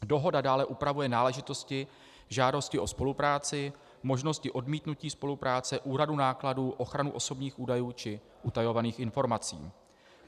Dohoda dále upravuje náležitosti žádosti o spolupráci, možnosti odmítnutí spolupráce, úhradu nákladů, ochranu osobních údajů či utajovaných informací.